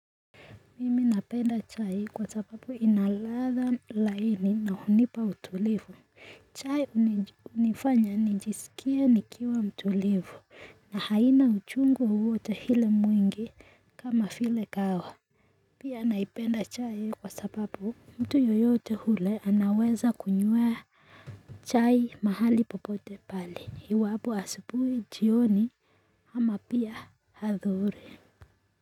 Mimi napenda chai kwa sababu inaladha laini na hunipa utulivu chai unifanya nijisikia nikiwa mtulivu na haina uchungu wowota hile mwingi kama file kao Pia naipenda chai kwa sababu mtu yoyote hule anaweza kunyuwa chai mahali popote pali iwabu asabuhi jioni ama pia hathuri.